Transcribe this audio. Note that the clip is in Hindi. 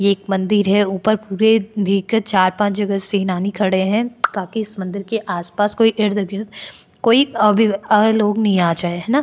ये एक मंदिर है ऊपर पूरे धी के चार पांच जगह सेनानी खड़े है ताकि इस मंदिर के कोई आस पास कोई इर्द गिर्द कोई अभी अ लोग नहीं आ जाए ना।